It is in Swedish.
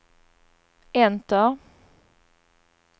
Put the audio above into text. enter